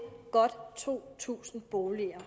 godt to tusind boliger